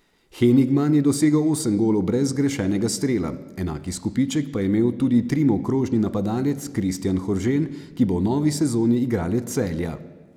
Henigman je dosegel osem golov brez zgrešenega strela, enak izkupiček pa je imel tudi Trimov krožni napadalec Kristjan Horžen, ki bo v novi sezoni igralec Celja.